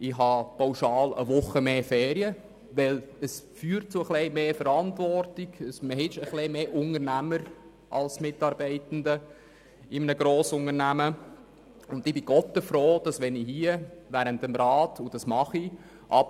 Ich verfüge pauschal über eine Woche mehr Ferien, weil Vertrauensarbeitszeit zu etwas mehr Verantwortung führt und dazu, dass man sich in einem Grossunternehmen etwas mehr als Unternehmer denn als Mitarbeitender fühlt.